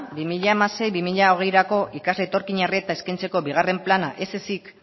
bi mila hamasei bi mila hogeirako ikasle etorkinei eskaintzeko bigarren plana ez ezik